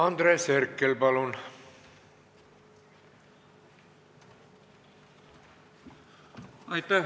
Andres Herkel, palun!